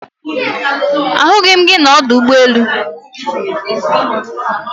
Ahughi m gi na Odo Ugbo elu